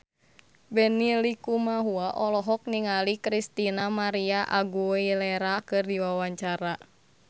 Benny Likumahua olohok ningali Christina María Aguilera keur diwawancara